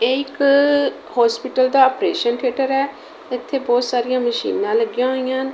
ਇਹ ਇੱਕ ਹੋਸਪਿਟਲ ਦਾ ਆਪਰੇਸ਼ਨ ਥੇਟਰ ਹੈ। ਇੱਥੇ ਬਹੁਤ ਸਾਰੀਆਂ ਮਸ਼ੀਨਾਂ ਲੱਗੀਆਂ ਹੋਈਆਂ ਹਨ।